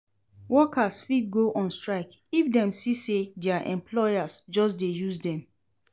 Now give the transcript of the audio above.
Workers fit go on strike if dem see say their employers just de use dem